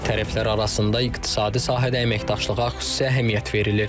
Tərəflər arasında iqtisadi sahədə əməkdaşlığa xüsusi əhəmiyyət verilir.